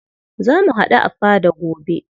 Za mu haɗu a fada gobe.